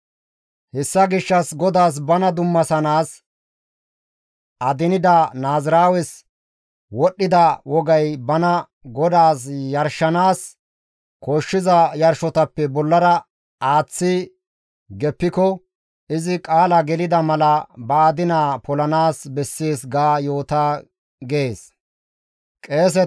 « ‹Hessa gishshas GODAAS bana dummasanaas adinida naaziraawes wodhdhida wogay bana Godaas yarshanaas koshshiza yarshotappe bollara aaththi geppiko izi qaala gelida mala ba adinaa polanaas bessees ga yoota› gees.»